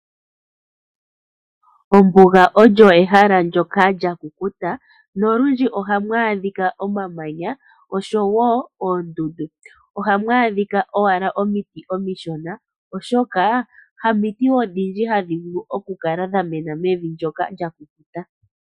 Ombuga olyo ehala ndyoka lya kukuta, nolundji ohamu adhika omamanya osho wo oondundu. Ohamu adhika owala omiti omishona, oshoka ha miti odhidji hadhi vulu oku kala dha mena mevi ndyoka lya kukuta.